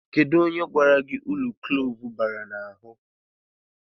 Kedụ onye gwara gị uru klove bara n'ahụ?